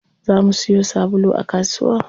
Za mu siyo sabulu a kasuwa.